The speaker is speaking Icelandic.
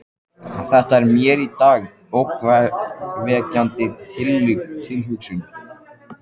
Þetta er mér í dag ógnvekjandi tilhugsun.